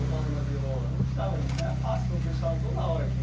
O Paulinho da Viola, não precisava disso né, era fácil, eles estavam toda hora aqui.